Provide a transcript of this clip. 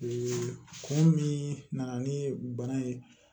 kun min nana ni bana ye